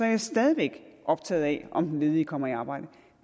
man stadig væk optaget af om den ledige kommer i arbejde